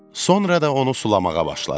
Sonra da onu sulamağa başladı.